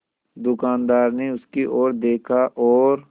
दुकानदार ने उसकी ओर देखा और